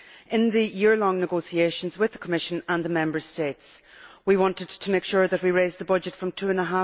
In the year long negotiations with the Commission and the Member States we wanted to make sure we raised the budget from EUR